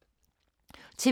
TV 2